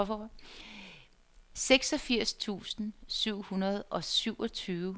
seksogfirs tusind syv hundrede og syvogtyve